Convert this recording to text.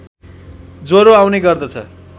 ज्वरो आउने गर्दछ